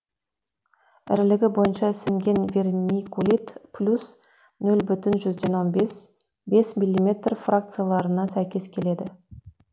ірілігі бойынша ісінген вермикулит плюс ноль бүтін жүзден он бес бес миллиметр фракцияларына сәйкес келеді